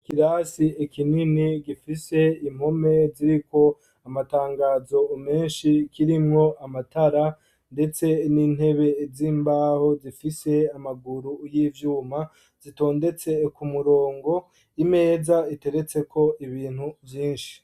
Ikirasi kinini gifise impome ziriko amatangazo menshi kirimwo amatara ndetse n'intebe z'imbaho zifise amaguru y'ivyuma zitondetse ku murongo, imeza iteretseko ibintu vyinshi.